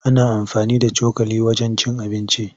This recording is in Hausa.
Ana amfani da cokali wajen cin abinci.